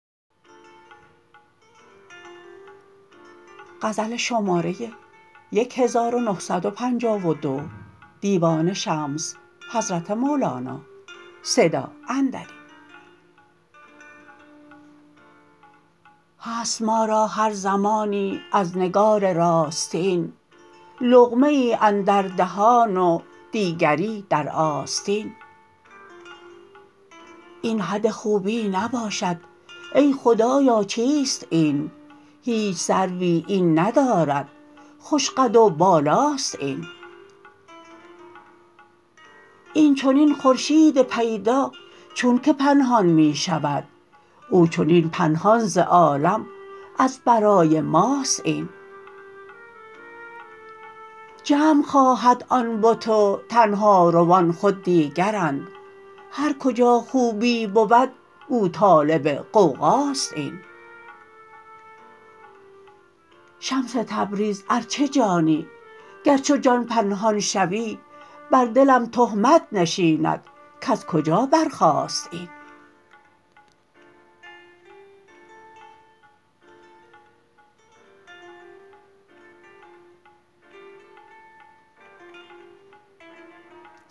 هست ما را هر زمانی از نگار راستین لقمه ای اندر دهان و دیگری در آستین این حد خوبی نباشد ای خدایا چیست این هیچ سروی این ندارد خوش قد و بالا است این این چنین خورشید پیدا چونک پنهان می شود او چنین پنهان ز عالم از برای ماست این جمع خواهد آن بت و تنهاروان خود دیگرند هر کجا خوبی بود او طالب غوغاست این شمس تبریز ار چه جانی گر چو جان پنهان شوی بر دلم تهمت نشیند کز کجا برخاست این